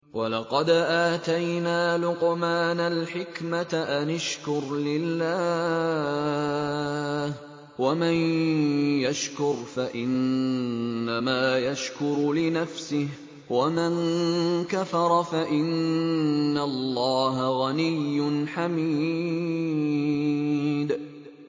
وَلَقَدْ آتَيْنَا لُقْمَانَ الْحِكْمَةَ أَنِ اشْكُرْ لِلَّهِ ۚ وَمَن يَشْكُرْ فَإِنَّمَا يَشْكُرُ لِنَفْسِهِ ۖ وَمَن كَفَرَ فَإِنَّ اللَّهَ غَنِيٌّ حَمِيدٌ